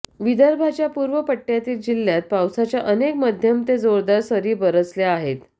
विदर्भाच्या पूर्व पट्ट्यातील जिल्ह्यात पावसाच्या अनेक मध्यम ते जोरदार सरी बरसल्या आहेत